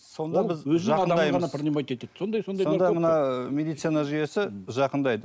сонда мына медицина жүйесі жақындайды